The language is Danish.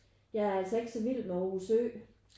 Jeg er altså ikke så vild med Aarhus Ø